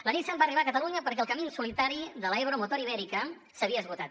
la nissan va arribar a catalunya perquè el camí en solitari de l’ebro motor ibèrica s’havia esgotat